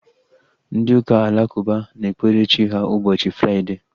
Ndị ụka alakụba na-ekpere Chi ha ụbọchị Fraịdee